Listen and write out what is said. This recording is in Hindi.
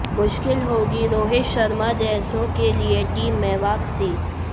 मुश्किल होगी रोहित शर्मा जैसों के लिए टीम में वापसी